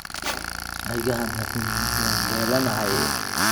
Ha iga xanaaqin, waan daalanahay.